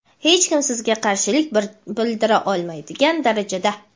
hech kim sizga qarshilik bildira olmaydigan darajada.